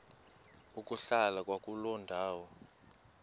ukuhlala kwakuloo ndawo